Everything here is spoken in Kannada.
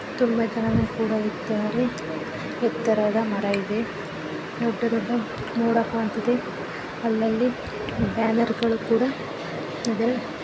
ತುಂಬಾ ಜನಗಳು ಕೂಡ ಇದ್ದಾರೆ ಎತ್ತರದ ಮರ ಇದೆ ದೊಡ್ಡ ದೊಡ್ಡ ನೋಡ ಕಾಣ್ತಿದೆ ಅಲಲ್ಲಿ ಬ್ಯಾನರ್ ಗಳು ಕೂಡ ಇದೆ .